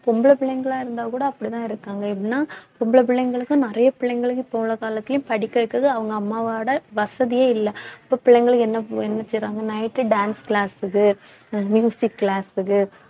பொம்பளை பிள்ளைங்களா இருந்தா கூட அப்படித்தான் இருக்காங்க எப்படின்னா பொம்பளை பிள்ளைங்களுக்கு நிறைய பிள்ளைங்களுக்கு இப்ப உள்ள காலத்துலயும் படிக்க வைக்குது அவங்க அம்மாவோட வசதியே இல்லை இப்ப பிள்ளைங்களுக்கு என்ன செய்றாங்க night dance class க்கு class க்கு